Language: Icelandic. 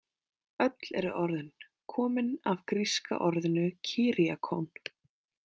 Öll eru orðin komin af gríska orðinu kyriakón.